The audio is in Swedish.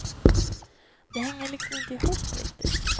Det hänger liksom inte ihop riktigt.